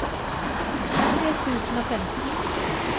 tre tusen og femten